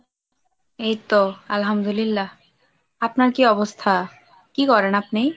এই তো আল্লাহামদুল্লিয়া, আপনার কি অবস্থা ? কি করেন আপনি ?